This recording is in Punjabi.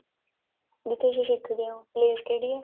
ਜਿੱਥੇ ਤੁਸੀਂ ਸਿੱਖਦੇ ਓ place ਕਿਹੜੀ ਏ